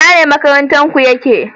Ina ne makaranta ku ya ke?